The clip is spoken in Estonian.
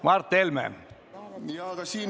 Mart Helme, palun!